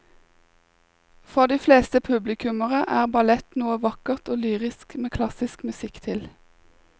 For de fleste publikummere er ballett noe vakkert og lyrisk med klassisk musikk til.